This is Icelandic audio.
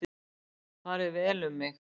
Farið vel um mig?